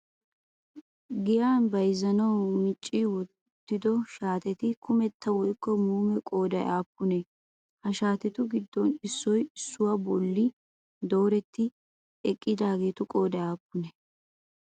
Giyan bayizzanawu micci uttido shaateti kumetta woykko muume qoodayii aappunee? Ha shaatetu giddon issoyi issuwaa bolli doorettidi eqqidaageetu qoodayi aapunee?